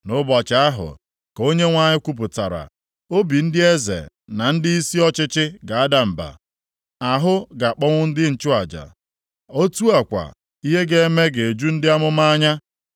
“Nʼụbọchị ahụ,” ka Onyenwe anyị kwupụtara, “Obi ndị eze na ndịisi ọchịchị ga-ada mba; ahụ ga-akpọnwụ ndị nchụaja, otu a kwa, ihe ga-eme ga-eju ndị amụma anya.”